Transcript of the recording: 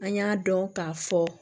An y'a dɔn k'a fɔ